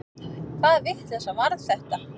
Hvaða vitleysa var þetta?